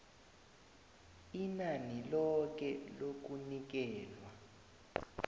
inani loke lokunikelwa